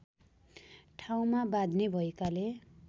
ठाउँमा बाँध्ने भएकाले